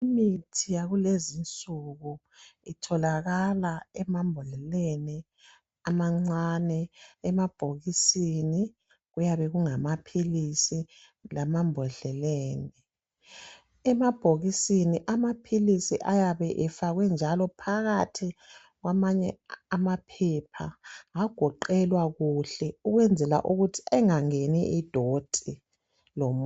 Imithi yakulezinsuku, itholakala emambodleleni amancane, emabhokisini kuyabe kungamaphilisi lemambodleleni. Emabhokisini amaphilisi ayabe efakwe njalo phakathi kwamanye amaphepha agoqelwa kuhle ukwenzela ukuthi engangeni idoti.